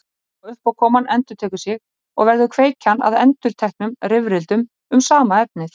Sama uppákoman endurtekur sig og verður kveikjan að endurteknum rifrildum um sama efnið.